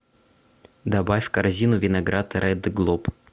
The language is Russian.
добавь в корзину виноград ред глоб